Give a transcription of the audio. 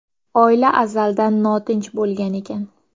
Oila azaldan notinch bo‘lgan ekan.